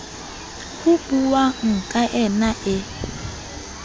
ho buuwang ka yna e